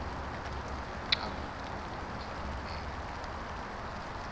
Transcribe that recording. xa kukho imfuneko